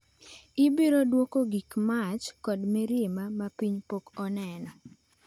"Ibiro duoko gi mach kod mirima ma piny pok oneno."""